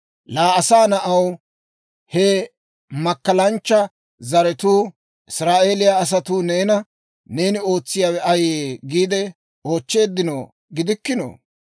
«Laa asaa na'aw, he makkalanchcha zaratuu, Israa'eeliyaa asatuu neena, ‹Neeni ootsiyaawe ayee?› giide oochcheeddino gidikkinoo?